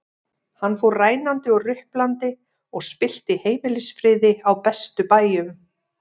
Hann fór rænandi og ruplandi og spillti heimilisfriði á bestu bæjum.